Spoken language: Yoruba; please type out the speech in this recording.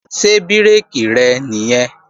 Ṣé bírèkì rẹ̀ nìyẹn?